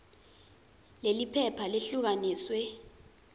leli phepha lehlukaniswe